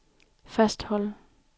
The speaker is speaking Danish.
fastholde